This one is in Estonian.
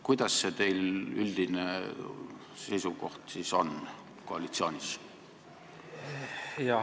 Milline see teie üldine seisukoht koalitsioonis siis on?